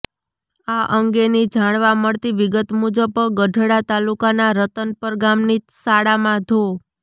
આ અંગેની જાણવા મળતી વિગત મુજબ ગઢડા તાલુકાના રતનપર ગામની શાળામાં ધો